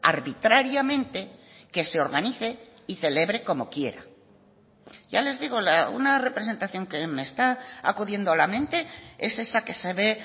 arbitrariamente que se organice y celebre como quiera ya les digo una representación que me está acudiendo a la mente es esa que se ve